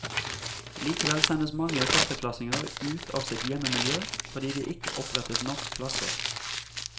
Likevel sendes mange førsteklassinger ut av sitt hjemmemiljø fordi det ikke opprettes nok klasser.